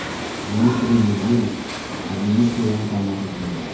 Dmitriy Medvedev qadimiy Xivani tomosha qildi .